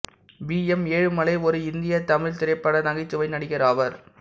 we M Ezhumalai ஒரு இந்திய தமிழ்த் திரைப்பட நகைச்சுவை நடிகர் ஆவார்